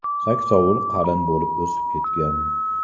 Saksovul qalin bo‘lib o‘sib ketgan.